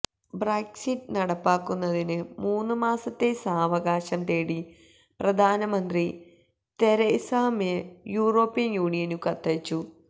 Brexit നടപ്പാക്കുന്നതിനു മൂന്നുമാസത്തെ സാവകാശം തേടി പ്രധാനമന്ത്രി തെരേസാ മേ യൂറോപ്യൻ യൂണിയനു കത്തയച്ചു